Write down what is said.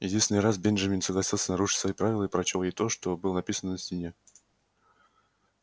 единственный раз бенджамин согласился нарушить свои правила и прочёл ей то что было написано на стене